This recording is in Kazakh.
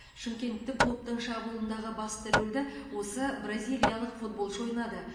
шымкенттік клубтың шабуылындағы басты рөлді осы бразилиялық футболшы ойнады